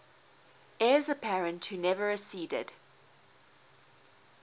heirs apparent who never acceded